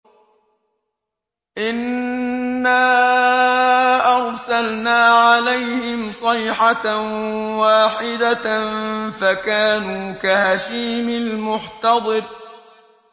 إِنَّا أَرْسَلْنَا عَلَيْهِمْ صَيْحَةً وَاحِدَةً فَكَانُوا كَهَشِيمِ الْمُحْتَظِرِ